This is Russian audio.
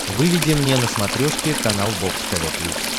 выведи мне на смотрешке канал бокс тв плюс